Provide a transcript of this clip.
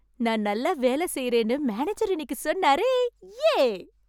நான் நல்லா வேலை செய்யுறேன்னு மேனேஜர் இன்னிக்குச் சொன்னாரே! யே!